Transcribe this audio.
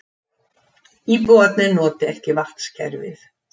Íbúarnir noti ekki vatnskerfið